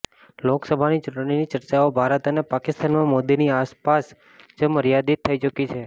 લોકસભાની ચૂંટણીની ચર્ચાઓ ભારત અને પાકિસ્તાનમાં મોદીની આસપાસ જ મર્યાદીત થઈ ચુકી છે